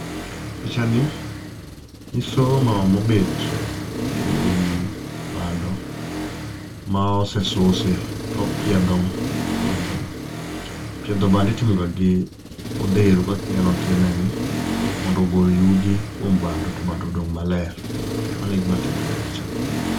Pinchani, nyiso mama mobet e wi bando ma osesusi to opiedho bandono. Piedho bando itimoga gi odheru kaka ineno otimeni, mondo ogol yugi kuom bando to bando odong' maler. Mano e gima timore e pichani.